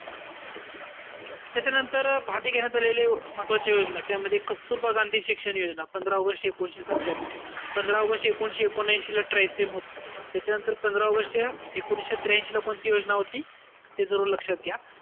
त्याच्यानंतर घेण्यात आलेले महत्वाच्या योजना, त्याच्यामध्ये कस्तुरबा गांधी शिक्षण योजना, पंधरा ऑगस्ट एकोणविशे सत्यान्यू. पंधरा ऑगस्ट एकोणविशे ऐकोनऐशी ला TRYSEM होती. पंधरा ऑगस्टच्या एकोणविशे त्र्यांशीला कोणती योजना होती? ते जरूर लक्षात घ्या.